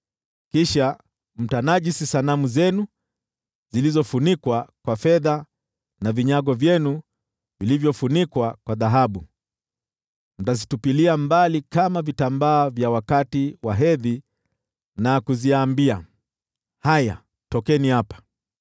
Kisha mtanajisi sanamu zenu zilizofunikwa kwa fedha, na vinyago vyenu vilivyofunikwa kwa dhahabu. Mtazitupilia mbali kama vitambaa vya wakati wa hedhi na kuziambia, “Haya, tokeni hapa!”